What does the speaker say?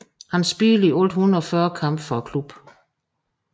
Han spillede i alt 140 kampe for klubben